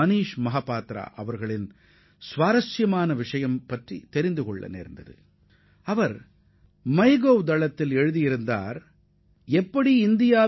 மனிஷ் மகபத்ரா என்பவரது கருத்து மிகவும் உற்சாகம் அளிப்பதாக இருந்தது